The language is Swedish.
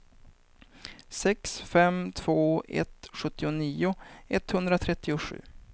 sex fem två ett sjuttionio etthundratrettiosju